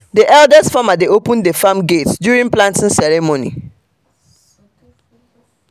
the eldest farmer dey open the farm gate during planting ceremony